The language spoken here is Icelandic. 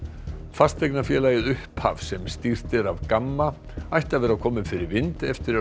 fasteignafélagið upphaf sem stýrt er af Gamma ætti að vera komið fyrir vind eftir